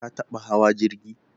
Ka taɓa hawa jirgi?